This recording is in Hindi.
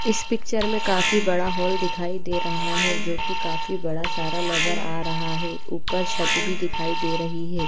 इस पिक्चर में काफी बड़ा हॉल दिखाई दे रहा है जो की काफी बड़ा सारा नजर आ रहा है। ऊपर छत भी दिखाई दे रही है।